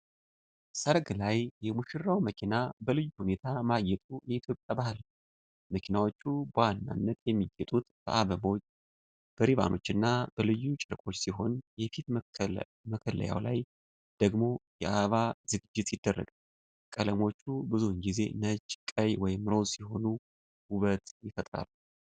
ሰርግ ላይ የሙሽራው መኪና በልዩ ሁኔታ ማጌጡ የኢትዮጵያ ባህል ነው። መኪናዎቹ በዋናነት የሚጌጡት በአበቦች፣ በሪባኖችና በልዩ ጨርቆች ሲሆን፣ የፊት መከለያው ላይ ደግሞ የአበባ ዝግጅት ይደረጋል። ቀለሞቹ ብዙውን ጊዜ ነጭ፣ ቀይ ወይም ሮዝ ሲሆኑ ውበት ይፈጥራሉ።